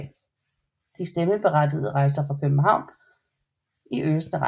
De stemmeberettigede rejser fra København i øsende regn